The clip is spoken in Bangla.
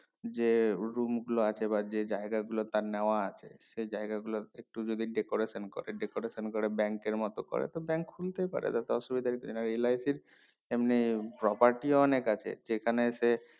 যে উর্গ মুখ গুলো আছে বা যে জায়গা গুলো তার নেওয়া আছে সেই জায়গা গুলোর একটু যদি decoration করে decoration করে bank এর মতো করে তো bank খুলতেই পারে তাতে অসুবিধার কিছু নেই LIC র এমনি property অনেক আছে যেখানে সে